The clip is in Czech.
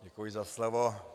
Děkuji za slovo.